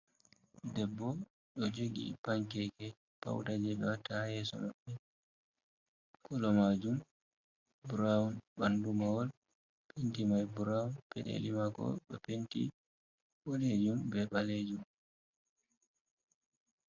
Debbo ɗo jogi pankeke, pauda je watta ha yeso maɓɓe, kolo majum brown, ɓandu mahol penti mai brown, peɗeli mako ɗo penti bodejum be ɓalejum.